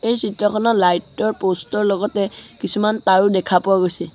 এই চিত্ৰখনত লাইট ৰ প'ষ্টৰ লগতে কিছুমান তাঁৰও দেখা পোৱা গৈছে।